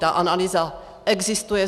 Ta analýza existuje.